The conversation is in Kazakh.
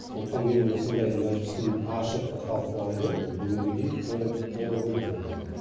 сондықтан мен осындай мәжілістің ашық талқылауды бүгінгідей толығымен қолдаймын